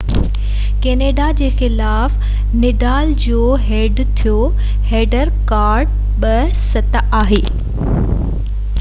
Canada جي خلاف Nadal جو هيڊ ٽو هيڊ رڪارڊ 7–2 آهي